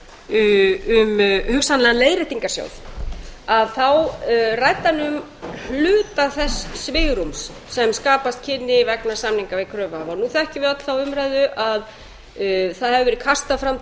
úr tillögunni um hugsanlegan leiðréttingarsjóð að hann ræddi um hluta þess svigrúms sem skapast kynni vegna samninga við kröfuhafa nú þekkjum við öll þá umræðu að það hefur verið kastað fram